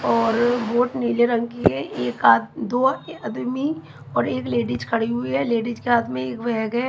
और बोट नीले रंग की है एक आद दो आदमी और एक लेडिज खड़ी हुई है लेडिज के हाथ में एक बैग है।